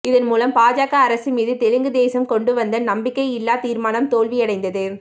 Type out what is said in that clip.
இதன்மூலம் பாஜக அரசு மீது தெலுங்கு தேசம் கொண்டுவந்த நம்பிக்கையில்லா தீர்மானம் தோல்வியடைந்தது